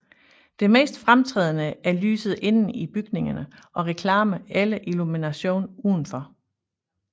Det mest fremtrædende er lyset inde i bygningerne og reklamer eller illumination udenfor